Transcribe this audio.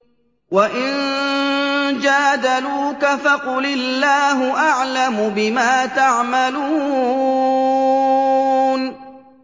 وَإِن جَادَلُوكَ فَقُلِ اللَّهُ أَعْلَمُ بِمَا تَعْمَلُونَ